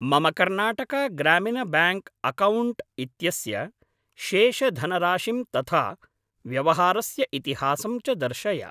मम Karnataka Gramin bank account इत्यस्य शेषधनराशिं तथा व्यवहारस्य इतिहासं च दर्शय।